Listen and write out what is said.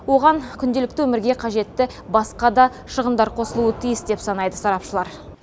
оған күнделікті өмірге қажетті басқа да шығындар қосылуы тиіс деп санайды сарапшылар